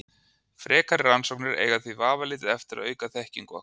Frekari rannsóknir eiga því vafalítið eftir að auka þekkingu okkar.